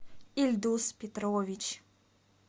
ильдус петрович